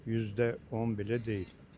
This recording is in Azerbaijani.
Yüzdə bir deyil.